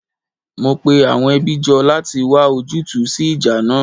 Mo pe àwọn ẹbí jọ láti wá ojútùú sí ìjà náà